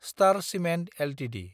star Cement Ltd